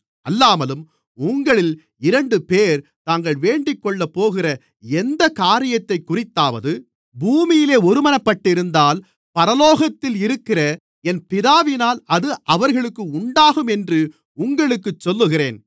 அல்லாமலும் உங்களில் இரண்டுபேர் தாங்கள் வேண்டிக்கொள்ளப்போகிற எந்தக் காரியத்தைக்குறித்தாவது பூமியிலே ஒருமனப்பட்டிருந்தால் பரலோகத்தில் இருக்கிற என் பிதாவினால் அது அவர்களுக்கு உண்டாகும் என்று உங்களுக்குச் சொல்லுகிறேன்